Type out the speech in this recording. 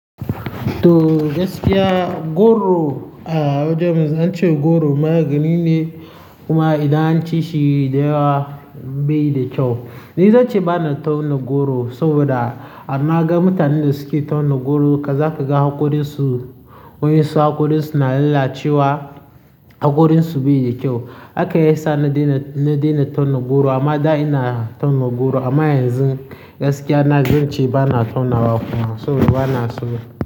To gaskiya goro a wajen mu an ce goro magani ne kuma idan an ci shi dayawa bai yi da kyau. Ni zan ce bana tauna goro saboda an na ga mutanen da suke tauna goro ka za ka ga hakorinsu, wa yansu su hakorinsu na lalacewa, hakorinsu bai da kyau. Haka yasa na daina, na daina tauna goro amma da ina tauna goro amma yanzu gaskiya na zance bana tauna wa kuma saboda ba na so.